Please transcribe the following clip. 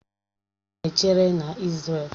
Ọdachi na-echere na Isrelu